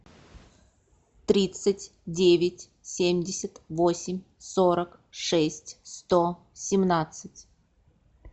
тридцать девять семьдесят восемь сорок шесть сто семнадцать